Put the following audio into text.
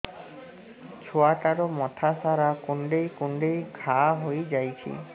ଛୁଆଟାର ମଥା ସାରା କୁଂଡେଇ କୁଂଡେଇ ଘାଆ ହୋଇ ଯାଇଛି